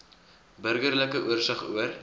burgerlike oorsig oor